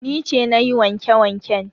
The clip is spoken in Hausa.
Ni ce na yi wanke-wanken.